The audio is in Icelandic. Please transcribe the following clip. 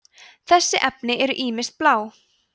þessi efni eru ýmist blá